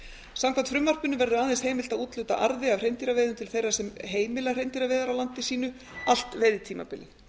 samkvæmt frumvarpinu verður aðeins heimilt að úthluta arði af hreindýraveiðum til þeirra sem heimila hreindýraveiðar á landi sínu allt veiðitímabilið